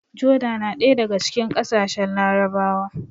Joda na ɗaya daga cikin ƙasashen Larabawa